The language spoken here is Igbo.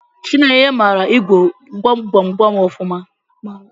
Chinenye mara ịgwọ gwam gwam gwam ọfụma.